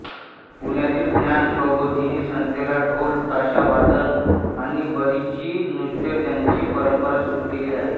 पुण्यातील ज्ञान प्रबोधिनी संस्थेने ढोल ताशा वादन आणि बरची नृत्य यांची परंपरा सुरू केली आहे